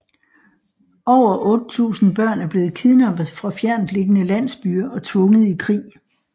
Over 8000 børn er blevet kidnappet fra fjerntliggende landsbyer og tvunget i krig